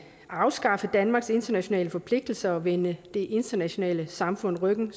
afskaffe danmarks internationale forpligtelser og vende det internationale samfund ryggen